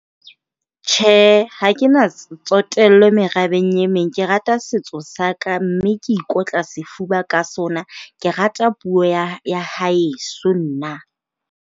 Tjhe, ha ke na tsotello merabeng e meng. Ke rata setso saka mme ke ikotla sefuba ka sona. Ke rata puo ya ya heso nna.